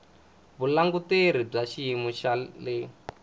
vulanguteri bya xiyimo xa le